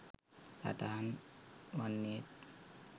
සටහන් වන්නේත්